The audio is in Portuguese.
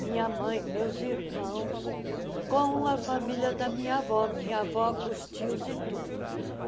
minha mãe, meus irmãos, com a família da minha avó, minha avó com os tios e tudo.